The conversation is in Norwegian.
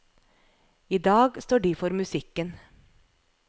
I dag står de for musikken.